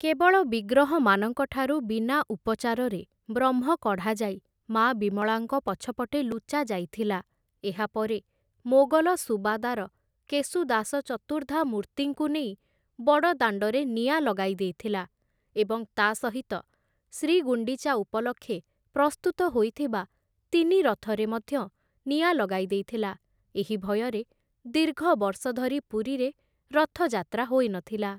କେବଳ ବିଗ୍ରହମାନଙ୍କଠାରୁ ବିନା ଉପଚାରରେ ବ୍ରହ୍ମ କଢ଼ାଯାଇ ମା' ବିମଳାଙ୍କ ପଛପଟେ ଲୁଚାଯାଇଥିଲା । ଏହାପରେ ମୋଗଲ ସୁବାଦାର କେଶୁଦାସ ଚତୁର୍ଦ୍ଧା ମୂର୍ତ୍ତିଙ୍କୁ ନେଇ ବଡ଼ଦାଣ୍ଡରେ ନିଆଁ ଲଗାଇ ଦେଇଥିଲା ଏବଂ ତା' ସହିତ ଶ୍ରୀଗୁଣ୍ଡିଚା ଉପଲକ୍ଷେ ପ୍ରସ୍ତୁତ ହୋଇଥିବା ତିନି ରଥରେ ମଧ୍ୟ ନିଆଁ ଲଗାଇ ଦେଇଥିଲା । ଏହି ଭୟରେ ଦୀର୍ଘବର୍ଷ ଧରି ପୁରୀରେ ରଥଯାତ୍ରା ହୋଇନଥିଲା ।